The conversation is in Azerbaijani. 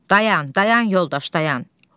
Dayan, dayan, yoldaş, dayan.